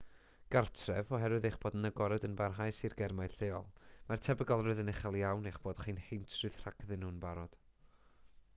gartref oherwydd eich bod yn agored yn barhaus i'r germau lleol mae'r tebygolrwydd yn uchel iawn eich bod chi'n heintrydd rhagddyn nhw'n barod